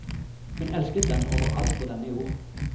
Hun elsket den over alt på denne jord.